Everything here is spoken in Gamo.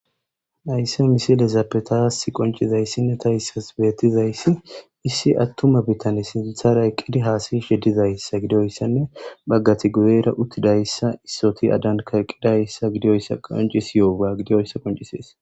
Naysse misilezappetaas qoncizayssinne tahissas beettizayssi issi attuma bitan sintharay qqidi haasayi sheddizayssa gidoyssanne baggati guyeera uttidayssa issoti adan kaqqidayssa gidioyssa qonci siyoa gidiyoyssa qoncisees.